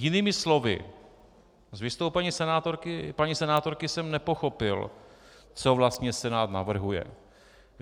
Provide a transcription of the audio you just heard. Jinými slovy, z vystoupení paní senátorky jsem nepochopil, co vlastně Senát navrhuje.